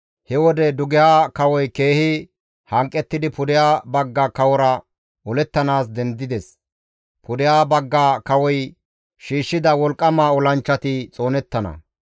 «He wode dugeha kawoy keehi hanqettidi pudeha bagga kawora olettanaas dendides; pudeha bagga kawoy shiishshida wolqqama olanchchati xoonettana.